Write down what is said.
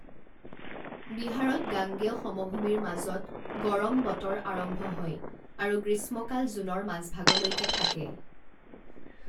বিহাৰত গাঙ্গেয় সমভূমিৰ মাজত, গৰম বতৰ আৰম্ভ হয় আৰু গ্ৰীষ্মকাল জুনৰ মাজভাগলৈকে থাকে।